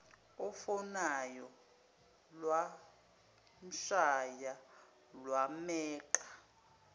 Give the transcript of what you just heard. ofonayo lwamshaya lwameqa